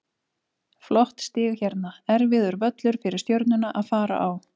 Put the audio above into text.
Flott stig hérna, erfiður völlur fyrir Stjörnuna að fara á.